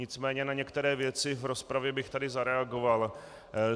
Nicméně na některé věci v rozpravě bych tady zareagoval.